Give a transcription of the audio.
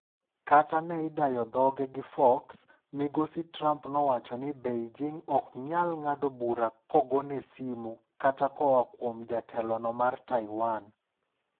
Kata ne idayo dhoge gi Fox, Migosi Trump nowacho ni Beijing ok nyal biro ng'ado bura kogone simu katakoa kuom jatelono mar Taiwan.